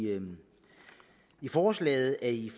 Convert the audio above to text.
forslaget i